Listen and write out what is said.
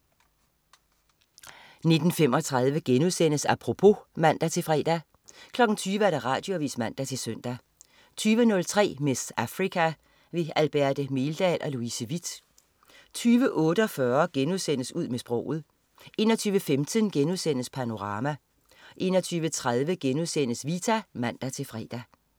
19.35 Apropos* (man-fre) 20.00 Radioavis (man-søn) 20.03 "Miss Africa". Alberte Meldal og Louise Witt 20.48 Ud med sproget* 21.15 Panorama* 21.30 Vita* (man-fre)